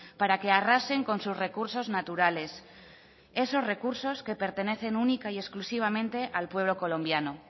para que arrasen con sus recursos naturales esos recursos que pertenecen única y exclusivamente al pueblo colombiano